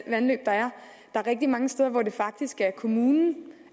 der er rigtig mange steder hvor det faktisk er kommunen